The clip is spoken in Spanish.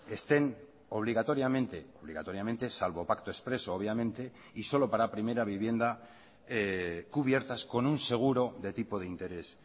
estén obligatoriamente obligatoriamente salvo pacto expreso obviamente y solo para primera vivienda cubiertas con un seguro de tipo de interés